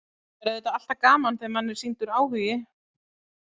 Það er auðvitað alltaf gaman þegar manni er sýndur áhugi.